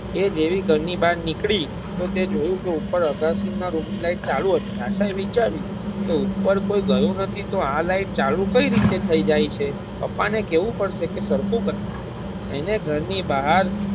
એ જેવી ઘર ની બાર નીકળી તો જોયું કે ઉપર અગાસી ના રૂમ ની લાઈટ ચાલુ હતી આશા એ વિચાયરું કે ઉપર કોઈ ગયું નથી તો આ લાઇટ ચાલુ કઈ રીતે થાય જાય છે પપા ને કેવું પડશે કે સરખું ક અને ઘર ની બહાર.